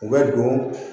U bɛ don